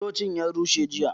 Cocin ya rushe jiya